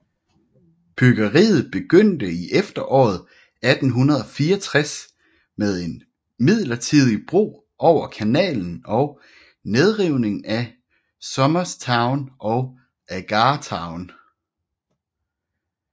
Byggeriet begyndte i efteråret 1864 med en midlertidig bro over kanalen og nedrivningen af Somers Town og Agar Town